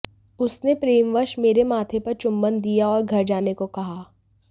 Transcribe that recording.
उसने प्रेमवश मेरे माथे पर चुंबन दिया और घर जाने को कहा